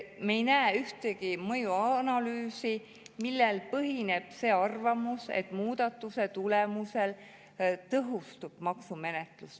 Me ei näe ühtegi mõjuanalüüsi, millel põhineb see arvamus, et muudatuse tulemusel tõhustub maksumenetlus.